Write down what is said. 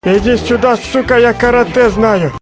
иди сюда сука я каратэ знаю